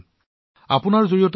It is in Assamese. আৰু প্ৰেম জী আপোনাৰ জৰিয়তে